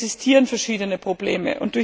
Und es existieren verschiedene Probleme.